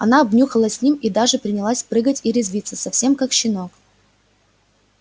она обнюхалась с ним и даже принялась прыгать и резвиться совсем как щенок